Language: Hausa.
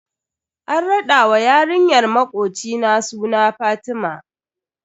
An rada wa yarinyar makocina suna Fatima.